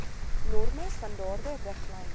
norme standaarde riglyne